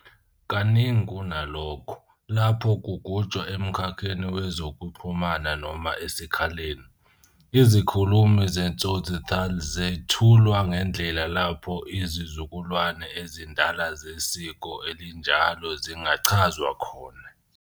Kaningi kunalokho, lapho kugujwa emkhakheni wezokuxhumana noma esikhaleni, izikhulumi ze-tsotsi taal zethulwa ngendlela lapho izizukulwane ezindala zesiko elinjalo zingachazwa khona.